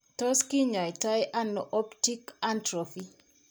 Tos' kinyaitano optic atrophy?